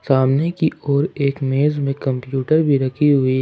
सामने की ओर एक मेज में कंप्यूटर भी रखी हुई--